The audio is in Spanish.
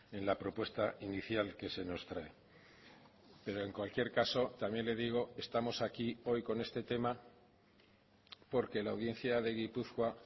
en la propuesta inicial que se nos trae pero en cualquier caso también le digo estamos aquí hoy con este tema porque la audiencia de gipuzkoa